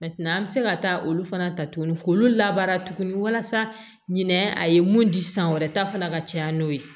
an bɛ se ka taa olu fana ta tuguni k'olu labaara tuguni walasa ɲinɛ a ye mun di san wɛrɛ ta fana ka caya n'o ye